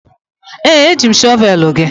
Ee, eji'm shọvel gị